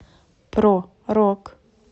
про рок